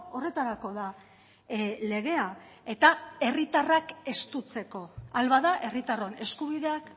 horretarako da legea eta herritarrak estutzeko ahal bada herritarron eskubideak